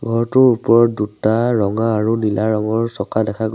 ঘৰটোৰ ওপৰত দুটা ৰঙা আৰু নীলা ৰঙৰ চকা দেখা গৈ--